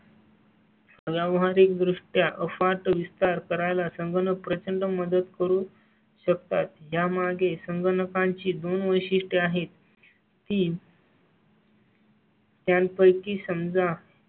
व्यावहारिक द्रष्ट्या अफाट विस्तार करायला सागा ना प्रचंड मदत करू शकतात. यामागे संगणकांची दोन वर्षे आहेत. तीन. त्यांपैकी समजा.